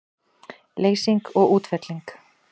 Leysing og útfelling